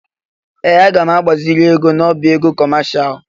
Ee! Aga m agbaziri ego n'ọbá ego kọmashal.